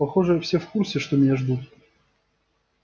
похоже все в курсе что меня ждут